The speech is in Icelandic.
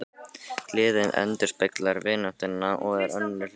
Gleðin endurspeglar vináttuna og er önnur hlið á henni.